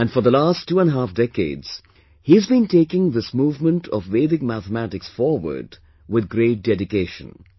And for the last twoandahalf decades, he has been taking this movement of Vedic mathematics forward with great dedication